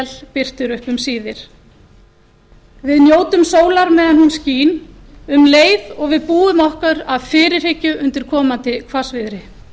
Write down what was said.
birtir upp um síðir við njótum sólar meðan hún skín um leið og við búum okkur af fyrirhyggju undir komandi hvassviðri